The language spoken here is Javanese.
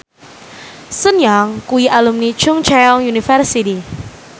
Sun Yang kuwi alumni Chungceong University